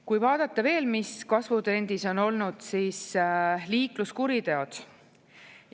Kui vaadata veel, mis kasvutrendis on olnud, siis liikluskuriteod.